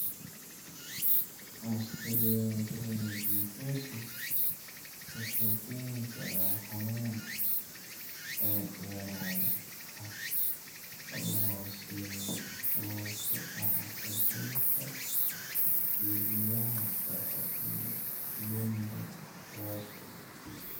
Osteomesopyknosis wuxuu keeni karaa xanuun dabadheeraad ah oo hooseeya oo ku dhaca xudunta xididada (dhexe) iyo lumbar (hoose).